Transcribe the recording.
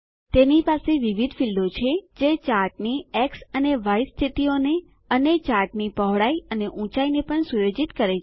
તેની પાસે વિવિધ ફીલ્ડો છે જે ચાર્ટની એક્સ અને ય સ્થિતિઓને અને ચાર્ટની પહોળાઈ અને ઊંચાઈને પણ સુયોજિત કરી શકે છે